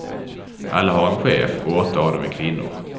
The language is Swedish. Alla har en chef, och åtta av dem är kvinnor.